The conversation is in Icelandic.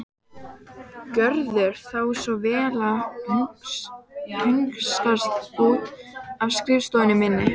Gjörðu þá svo vel að hunskast út af skrifstofunni minni.